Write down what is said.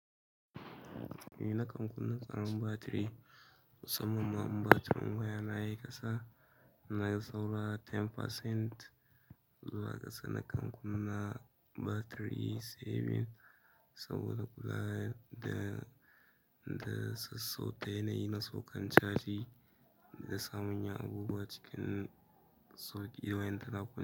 Ni na kan kunna tsarin batiri, musamman ma batirin waya na ya yi ƙasa, na ga sau la goma cikin ɗari zuwa ƙasa. Na kan kunna batiri saving saboda kula da, da sassauta yanayin na sauƙan caji da samun ya'ubuwa cikin sokewan lantarki.